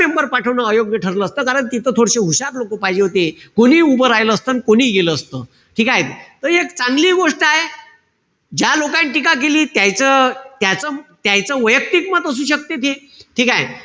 member पाठवणं अयोग्य ठरलं असत. कारण तिथं थोडेशे हुशार लोकं पायजे होते. कोणीही उभं राहील असत, अन कोणीही गेलं असत. ठीकेय? त एक चांगली गोष्टय. ज्या लोकाईनं टीका केली, त्यायचं त्यायचं वैयक्तिक मत असू शकते ते. ठीकेय?